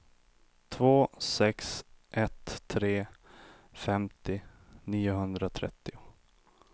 två sex ett tre femtio niohundratrettio